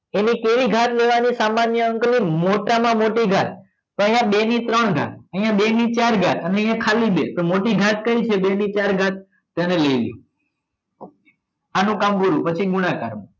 એને કેવી ઘાત લેવાની સામાન્ય અંકની મોટામાં મોટી ઘાત તો અહીંયા બે ને ત્રણ ગાત અહીંયા બેને ચાર ઘાત અને અહીંયા ખાલી બે તો મોટી ઘાત કઈ છે બે ની ચાર એને લઈ લો આનું કામ પૂરું પછી ગુણાકાર